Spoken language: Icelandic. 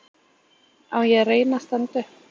Á ég að reyna að standa upp?